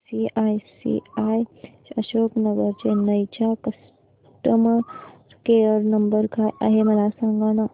ICICI Ashok Nagar Chennai चा customer care number काय आहे मला सांगाना